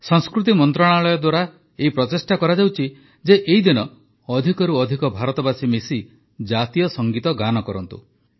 ସଂସ୍କୃତି ମନ୍ତ୍ରଣାଳୟ ଦ୍ୱାରା ଏହି ପ୍ରଚେଷ୍ଟା କରାଯାଉଛି ଯେ ଏହି ଦିନ ଅଧିକରୁ ଅଧିକ ଭାରତବାସୀ ମିଶି ଜାତୀୟ ସଙ୍ଗୀତ ଗାନ କରନ୍ତୁ